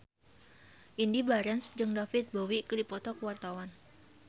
Indy Barens jeung David Bowie keur dipoto ku wartawan